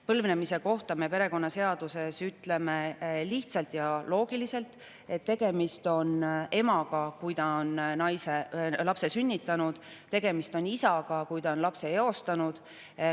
Põlvnemise kohta me perekonnaseaduses ütleme lihtsalt ja loogiliselt, et emaga on tegemist siis, kui ta on lapse sünnitanud, ja isaga on tegemist siis, kui ta on lapse eostanud.